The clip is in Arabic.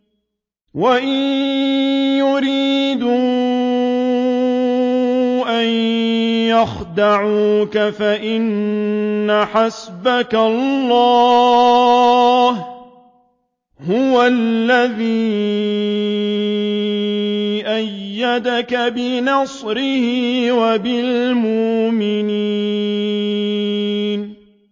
وَإِن يُرِيدُوا أَن يَخْدَعُوكَ فَإِنَّ حَسْبَكَ اللَّهُ ۚ هُوَ الَّذِي أَيَّدَكَ بِنَصْرِهِ وَبِالْمُؤْمِنِينَ